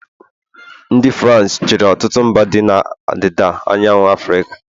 ndị Farans e chịrị ọtụtụ mba dị na ọdịda anyanwụ Afrịka